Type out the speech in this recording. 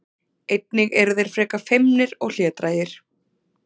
Einnig eru þeir frekar feimnir og hlédrægir.